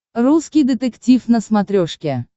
русский детектив на смотрешке